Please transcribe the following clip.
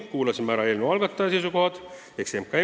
Kuulasime muidugi ära ka eelnõu algataja ehk MKM-i seisukohad.